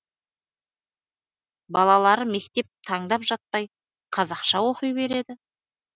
балалары мектеп таңдап жатпай қазақша оқи береді